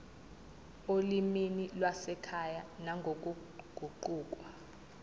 olimini lwasekhaya nangokuguquka